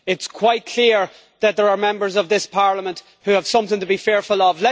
It is quite clear that there are Members of this Parliament who have something to be fearful of.